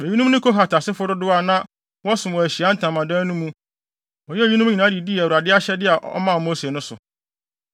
Eyinom ne Kohat asefo dodow a na wɔsom wɔ Ahyiae Ntamadan no mu Wɔyɛɛ eyinom nyinaa de dii Awurade ahyɛde a ɔmaa Mose no so.